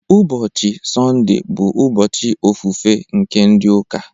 Ụbọchị Sọnde bụ ụbọchị ofufe nke ndị ụka